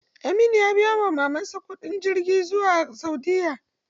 Aminu ya biya wa mamar sa kuɗin jirgin zuwa saudiya.